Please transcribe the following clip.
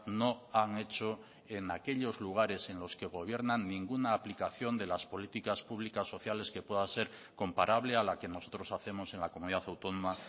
no han hecho en aquellos lugares en los que gobiernan ninguna aplicación de las políticas públicas sociales que pueda ser comparable a la que nosotros hacemos en la comunidad autónoma